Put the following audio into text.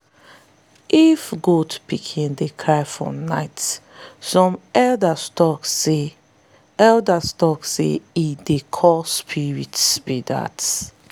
if goat pikin dey cry for night some elders tok say elders tok say e dey call spirits be dat.